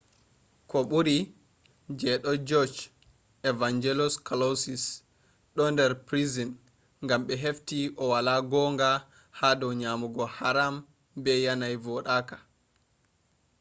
koh buri je do judge evangelos kalousis do dar prison gam be hefti o wala gonga hado nyamugo haram be yanayi vodaka